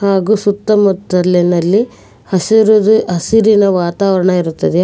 ಹಾಗೂ ಸುತ್ತಮುತ್ತಲಿನಲ್ಲಿ ಹಸೂರುದು ಹಸಿರಿನ ವಾತಾವರಣ ಇರುತ್ತದೆ.